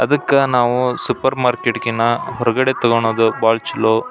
ಅದಕ್ಕೆ ನಾವು supermarket ಗಿನ್ನ ಹೊರಗಡೆ ತಗೋಳೋದು ಭಾಳ ಚಲೋ.